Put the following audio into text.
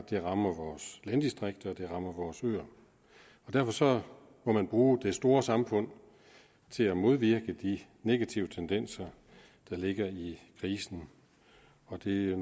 det rammer vores landdistrikter og det rammer vores øer derfor må man bruge det store samfund til at modvirke de negative tendenser der ligger i krisen og det